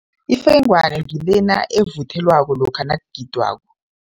Ifengwana ngilena evuthelwakho lokha nakugidwako.